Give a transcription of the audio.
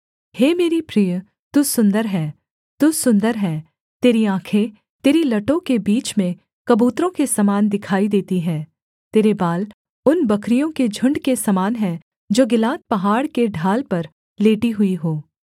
हे मेरी प्रिय तू सुन्दर है तू सुन्दर है तेरी आँखें तेरी लटों के बीच में कबूतरों के समान दिखाई देती है तेरे बाल उन बकरियों के झुण्ड के समान हैं जो गिलाद पहाड़ के ढाल पर लेटी हुई हों